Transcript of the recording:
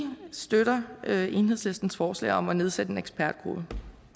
støtter enhedslisten forslag om at nedsætte en ekspertgruppe